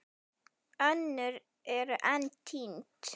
Önnur eru enn týnd.